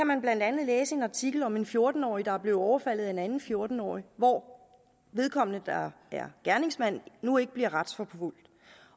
man kan læse i en artikel om en fjorten årig der er blevet overfaldet af en anden fjorten årig hvor vedkommende der er gerningsmand nu ikke bliver retsforfulgt